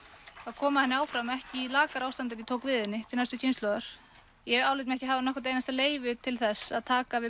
koma henni áfram ekki í lakara ástandi en ég tók við henni til næstu kynslóðar ég álít mig ekki hafa nokkurt einasta leyfi til þess að taka við